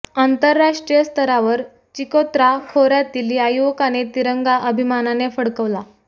आंतरराष्ट्रीय स्तरावर चिकोत्रा खोऱयातील या युवकाने तिरंगा अभिमानाने फडकवला